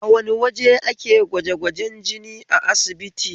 A wane waje ake gwajegwajen jini a asibiti?